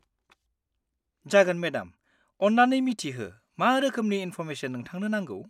जागोन मेडाम, अन्नानै मिथिहो मा रोखोमनि इन्फ'र्मेसन नोंथांनो नांगौ?